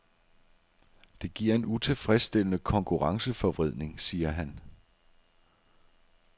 Det giver en utilfredsstillende konkurrenceforvridning, siger han.